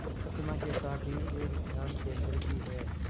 प्रतिमा के साथ ही एक ध्यान केंद्र भी है